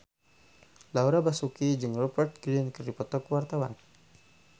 Laura Basuki jeung Rupert Grin keur dipoto ku wartawan